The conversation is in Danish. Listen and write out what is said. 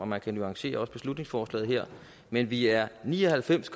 man kan nuancere beslutningsforslaget her men vi er ni og halvfems